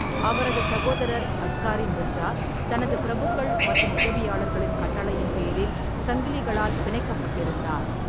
அவரது சகோதரர் அஸ்காரி மிர்சா தனது பிரபுக்கள் மற்றும் உதவியாளர்களின் கட்டளையின் பேரில் சங்கிலிகளால் பிணைக்கப்பட்டிருந்தார்.